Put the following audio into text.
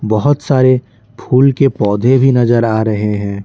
बहुत सारे फूल के पौधे भी नजर आ रहे हैं।